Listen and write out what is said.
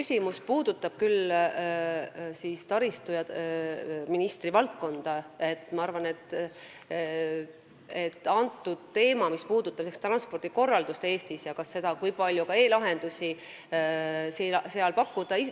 See puudutab küll taristuministri valdkonda – transpordikorraldus Eestis ja see, kui palju seal e-lahendusi pakkuda.